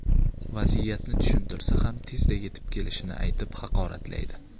Vaziyatni tushuntirsa ham tezda yetib kelishini aytib, haqoratlaydi.